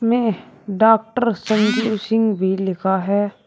इसमें डॉक्टर संजीव सिंह भी लिखा है।